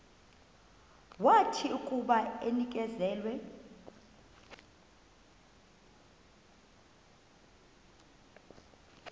wathi akuba enikezelwe